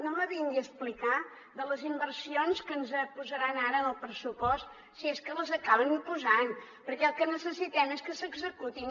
no em vingui a explicar de les inversions que ens posaran ara en el pressupost si és que les acaben posant perquè el que necessitem és que s’executin